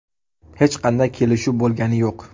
Hech qanday kelishuv bo‘lgani yo‘q.